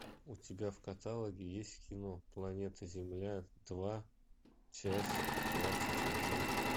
у тебя в каталоге есть кино планета земля два часть двадцать один